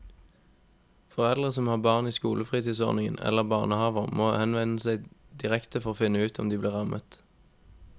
Foreldre som har barn i skolefritidsordning eller barnehaver må henvende seg direkte for å finne ut om de blir rammet.